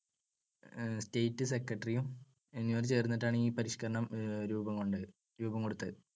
state secretary എന്നിവർ ചേർന്നിട്ടാണ് ഈ പരിഷ്‌ക്കരണം രൂപംകൊണ്ടത്, രൂപംകൊടുത്തത്.